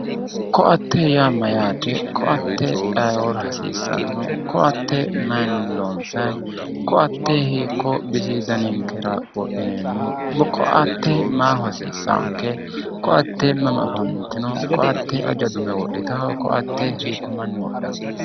Koatte yaa mayate ,koatte ayeeora hasiisano ,koatte maayinni loonsani, koatte hiikkuyi bisi danninkera wodhineemmo ,koatte maaho hasiisanonke ,koatte mama afantino koatte aja dume udhittano, koatte hiikko manni wodhano.